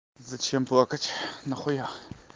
зачем плакать на хуя